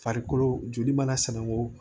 Farikolo joli mana sɛnɛ o